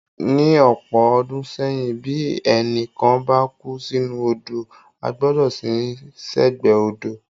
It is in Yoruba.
Ní ọ̀pọ̀ ọdún sẹ́yìn, bí ẹnì kan bá kú sínú odò, a gbọ́dọ̀ sin ín sẹ́gbẹ̀ẹ́ odò.